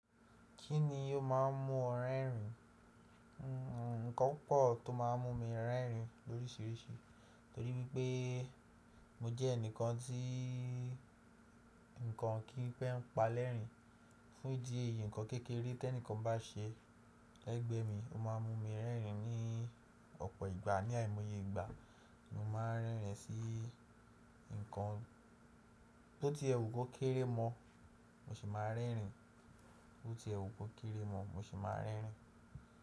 Kí ni yóò má a mú ọ rẹ́rìn? Nǹkan púpọ̀ tó má a mú mi rẹ́rìn lórísìíríìsì. Torí wí i pé mo jẹ́ ẹnìkan tí nǹkan kì í pẹ́ n pa lẹ́rìn. Fún ìdí èyí, ǹkan kékeré tí ẹnìkan bá ṣe lẹ́gbẹ́ mi, ó má a mú mi rẹ́rìn ní ọ̀pọ̀ ìgbà. Ni àìmoye ìgbà, mo má a ń rẹ́rìn sí nǹkan tó ti ẹwù kó kéré mọ́, mo sì má a ń rẹ́rìn. Tó ti ẹwù kó kéré mọ́, mo sì má a ń rẹ́rìn.